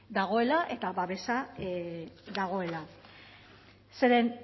dagoela eta babesa dagoela zeren